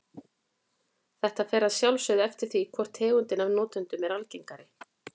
Þetta fer að sjálfsögðu eftir því hvor tegundin af notendunum er algengari.